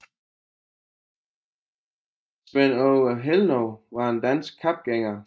Svend Aage Helnov var en dansk kapgænger